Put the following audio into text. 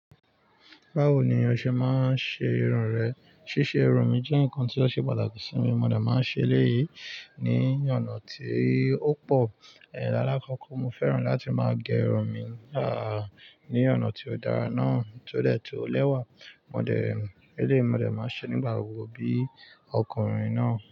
Báwo ni oṣẹ́ máa ń ṣe irun rẹ? Ṣíṣe irun mi jẹ́ nǹkan tí ó ṣe pàtàkì sí mi, mo dà máa ń ṣe léyìí ní ọ̀nà tí ó pọ̀. Lála kọ́kọ́ mo fẹ́ràn láti máa gẹ irun mi, à ní ọ̀nà tí ó dára náà tó dọ̀tun lẹ́wà, mo dà ẹ́ lé, mo dà ẹ́ máa ṣe nígbà gbogbo bí ọkùnrin náà.